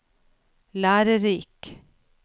lærerik